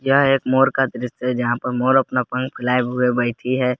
यह एक मोर का दृश्य है जहां पर मोर अपना पंख फैलाए हुए बैठी है।